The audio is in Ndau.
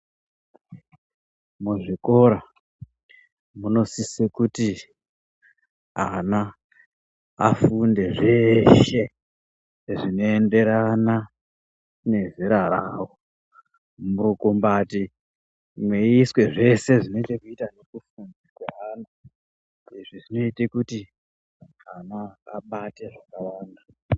Muzvikoro munosise kuti ana afunde zveshe zvinoenderana ngezera rawo murukundati meiswe zveshe zvinechekuita nokufunda kweana zveita kuti ana abate zvakawanda.